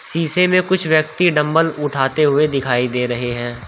शीशे में कुछ व्यक्ति डंबल उठाते हुए दिखाई दे रहे हैं।